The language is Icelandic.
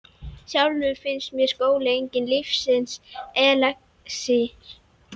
Sjálfri finnst mér skóli enginn lífsins elexír.